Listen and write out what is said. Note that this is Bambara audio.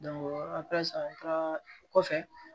an taara kɔfɛ